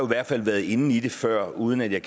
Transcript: hvert fald har været inde i det før uden jeg